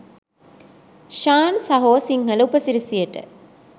ශාන් සහෝ සිංහල උපසිරැසියට.